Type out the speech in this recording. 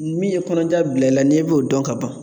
Min ye kɔnɔja bila i la n'i b'o dɔn ka ban